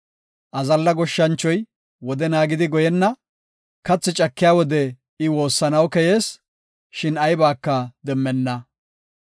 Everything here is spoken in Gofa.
Azalla goshshanchoy wode naagidi goyenna; kathi cakiya wode I woossanaw koyees; shin aybaka demmenna.